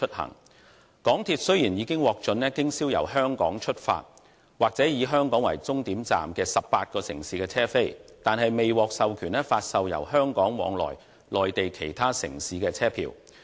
香港鐵路有限公司雖然已經獲准經銷由香港出發或以香港為終站的18個城市的車票，但卻未獲授權發售由香港往來內地其他城市的車票。